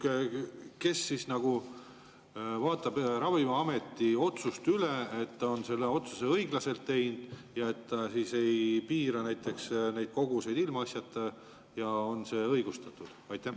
Küsimus: kes siis nagu vaatab Ravimiameti otsuseid üle, on need ikka õiglaselt tehtud ega piira neid koguseid ilmaasjata, on need igati õigustatud?